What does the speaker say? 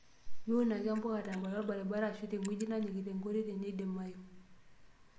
Miun ake mbuka tembata orbaribara arashu teng'ueji nanyikita enkitoi teneidimayu.